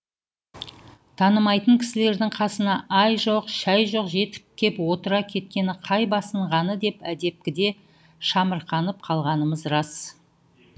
танымайтын кісілердің қасына ай жоқ шай жоқ жетіп кеп отыра кеткені қай басынғаны деп әдепкіде шамырқанып қалғанымыз рас